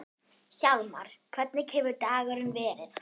Hjálmar, hvernig hefur dagurinn verið?